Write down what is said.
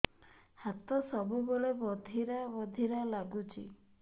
ହାତ ସବୁବେଳେ ବଧିରା ବଧିରା ଲାଗୁଚି